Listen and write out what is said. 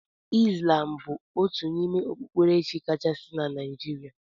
Islam bụ otu n'ime okpukperechi kachasị na Naijiria.